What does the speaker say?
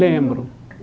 Lembro.